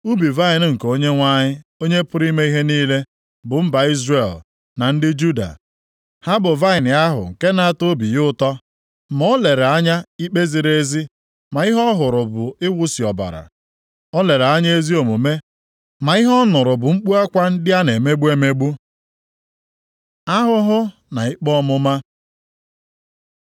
Ubi vaịnị nke Onyenwe anyị, Onye pụrụ ime ihe niile, bụ mba Izrel na ndị Juda, ha bụ vaịnị ahụ nke nʼatọ obi ya ụtọ. Ma o lere anya ikpe ziri ezi, ma ihe ọ hụrụ bụ iwusi ọbara. O lere anya ezi omume, ma ihe ọ nụrụ bụ mkpu akwa ndị a na-emegbu emegbu. Ahụhụ na ikpe ọmụma